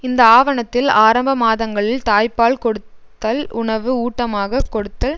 இந்த ஆவணத்தில் ஆரம்பமாதங்களில் தாய் பால் கொடுத்தல் உணவு ஊட்டமாகக் கொடுத்தல்